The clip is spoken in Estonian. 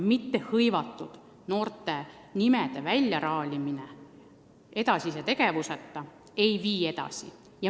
Mittehõivatud noorte inimeste nimede väljaraalimine edasise tegevuseta kuhugi ei vii.